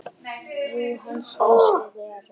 Jú, hann segir svo vera.